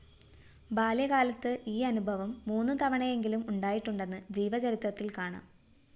ബാല്യകാലത്ത് ഈ അനുഭവം മൂന്നു തവണയെങ്കിലും ഉണ്ടായിട്ടുണ്ടെന്ന് ജീവചരിത്രത്തില്‍ കാണാം